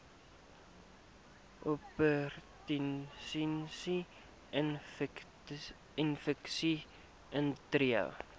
opportunistiese infeksies intree